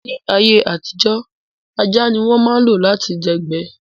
Ní ayé àtijó, ajá ní wọ́n ma ń lo lati dẹ̀gbẹ́